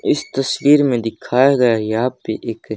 इस तस्वीर में दिखाया गया है यहां पे एक--